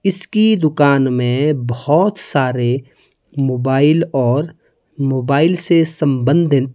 इसकी दुकान में बहुत सारे मोबाइल और मोबाइल से संबंधित--